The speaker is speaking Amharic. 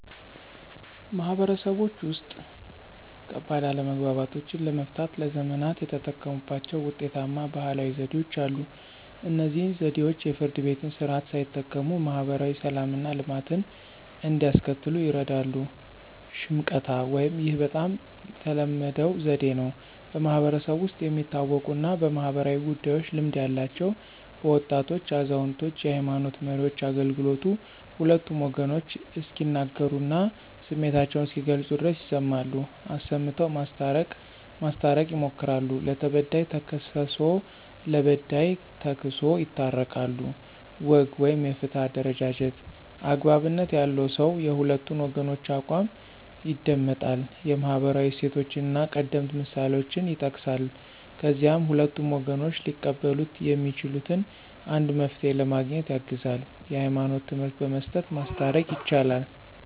ማህበረሰቦች ውስጥ፣ ከባድ አለመግባባቶችን ለመፍታት ለዘመናት የተጠቀሙባቸው ውጤታማ ባህላዊ ዘዴዎች አሉ። እነዚህ ዘዴዎች የፍርድ ቤትን ስርዓት ሳይጠቀሙ ማህበራዊ ሰላምና ልማትን እንዲያስከትሉ ይርዳሉ። ሽምቀታ (፦ ይህ በጣም ተለመደው ዘዴ ነው። በማህበረሰቡ ውስጥ የሚታወቁና በማኅበራዊ ጉዳዮች ልምድ ያላቸው (በወጣቶች፣ አዛውንቶች፣ የሃይማኖት መሪዎች) አገልግሎቱ ሁለቱም ወገኖች እስኪናገሩና ስሜታቸውን እስኪገልጹ ድረስ ይሰማሉ፣ አሰምተው ማስታረቅ ማስታረቅ ይሞክራሉ። ለተበዳይ ተክስሶ ለበዳይ ተክሶ ይታረቃሉ። ወግ (የፍትህ አደረጃጀት)፦ )" አግባብነት ያለው ሰው የሁለቱን ወገኖች አቋም ይደመጣል፣ የማህበራዊ እሴቶችንና ቀደምት ምሳሌዎችን ይጠቅሳል፣ ከዚያም ሁለቱም ወገኖች ሊቀበሉት የሚችሉትን አንድ መፍትሄ ለማግኘት ያግዛል። የህይማኖት ትምህርት በመስጠት ማስታረቅ። ይቻላል